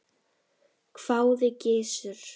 hváði Gizur.